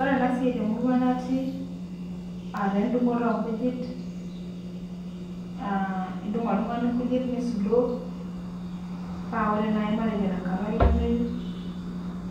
Ore enasiai temurua natii aateendung'oto oonkujit aah indung' oltung'ani nkujit nisudoo, paa ore naji matejo tenkata olameyu